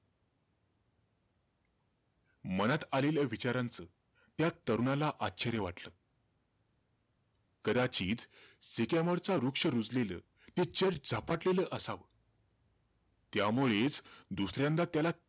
मनात आलेल्या विचारांचं, त्या तरुणाला आश्चर्य वाटलं. कदाचित, सिकॅमोरचा वृक्ष रुजलेलं, ते church झपाटलेलं असावं. त्यामुळेचं दुसऱ्यांदा त्याला,